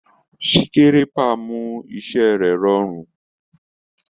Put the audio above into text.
Sikerépa mu iṣẹ rẹ ẹ rọrùn.